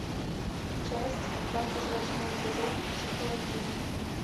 часть двадцать восьмой сезон психологини